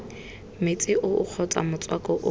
metsi oo kgotsa motswako oo